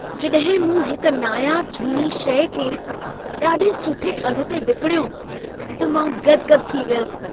जॾहिं मूं हिक नायाब झूनी शइ खे ॾाढे सुठे अघि ते विकिणियो त मां गदि-गदि थी वयुसि।